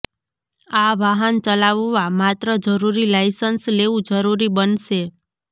આ વાહન ચલાવવા માત્ર જરૂરી લાયસન્સ લેવું જરુરી બનશે